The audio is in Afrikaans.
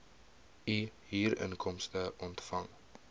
u huurinkomste ontvang